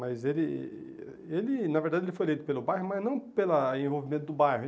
Mas ele, ele na verdade, ele foi eleito pelo bairro, mas não pela envolvimento do bairro.